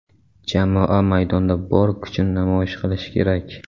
Jamoa maydonda bor kuchini namoyish qilishi kerak.